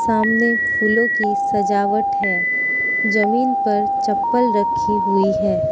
सामने फूलों की सजावट है जमीन पर चप्पल रखी हुई है।